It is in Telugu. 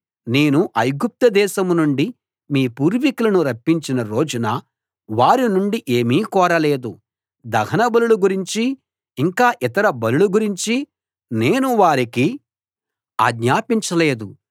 నేను ఐగుప్తు దేశం నుండి మీ పూర్వికులను రప్పించిన రోజున వారి నుండి ఏమీ కోరలేదు దహన బలుల గురించీ ఇంకా ఇతర బలుల గురించీ నేను వారికి ఆజ్ఞాపించలేదు